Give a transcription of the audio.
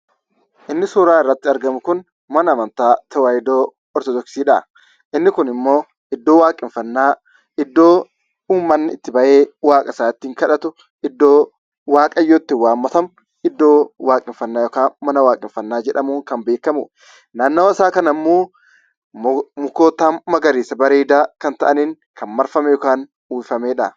Inni suuraa irratti argamu kun mana amanta a Tewahidoo Ortodoksiidha. Inni kun ammo iddo waaqeffannaa; iddo uummanni itti ba'ee waaqa isaa itti kadhatu; iddo itti waaqayyo itti waammatamu; iddo waaqeffannaa yookaan mana waaqeffanna jedhamuun kan beekamu. Naannawaa isaa kana ammoo mukoota magariisaafi bareedaa ta'aniin kan marfame yookaan uwwifamedha.